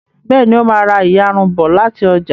Béèni o má rá iyarun bó láti ọjà